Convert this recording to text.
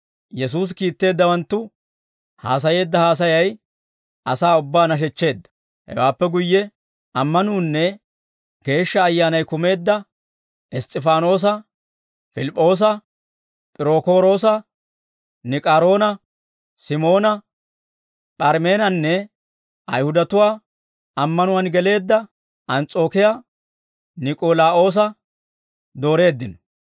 Yesuusi kiitteeddawanttu haasayeedda haasayay asaa ubbaa nashechcheedda; hewaappe guyye, ammanuunne Geeshsha Ayyaanay kumeedda Iss's'ifaanoosa, Pilip'p'oosa, P'irookoroosa, Nik'aaroona, S'imoona, P'arimeenanne Ayihudatuwaa ammanuwaan geleedda Ans's'ookiyaa Niik'olaawoosa dooreeddino.